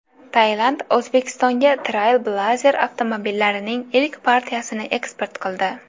Tailand O‘zbekistonga Trailblazer avtomobillarining ilk partiyasini eksport qildi.